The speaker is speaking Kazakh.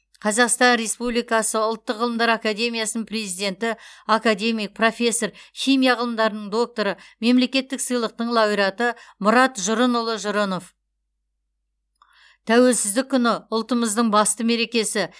қазақстан республикасы ұлттық ғылымдар академиясының президенті академик профессор химия ғылымдарының докторы мемлекеттік сыйлықтың лауреаты мұрат жұрынұлы жұрынов тәуелсіздік күні ұлтымыздың басты мерекесі